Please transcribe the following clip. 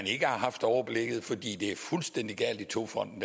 ikke har haft overblikket fordi er fuldstændig gal i togfonden